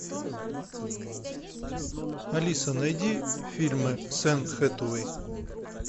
алиса найди фильмы с энн хэтэуэй